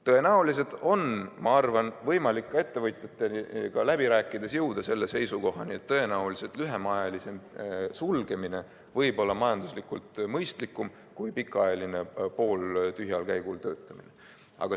Tõenäoliselt on, ma arvan, võimalik ka ettevõtjatega läbi rääkides jõuda selle seisukohani, et lühemaajalisem sulgemine võib olla majanduslikult mõistlikum kui pikaajaline pooltühjal käigul töötamine.